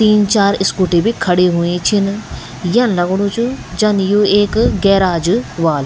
तीन चार स्कूटी भी खड़ी हुई छिन यन लगणू च जन यू एक गैराज ह्वाल।